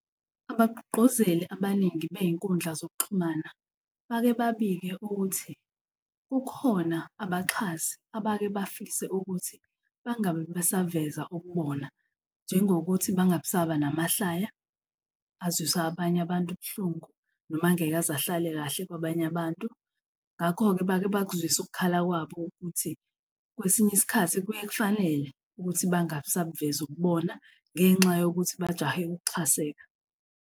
Abagqugquzeli abaningi bey'nkundla zokuxhumana bake babike ukuthi kukhona abaxhasi abake bafise ukuthi bangabe besavesa ububona njengokuthi bangabisaba ngamahlaya, azwisa abanye abantu buhlungu, noma angeke aze ahlale kahle kwabanye abantu, ngakho-ke bake bakuzwise ukukhala kwabo ukuthi kwesinye isikhathi kuye kufanele ukuthi bangabisabuveza ububona ngenxa yokuthi bajahe ukuxhaseka.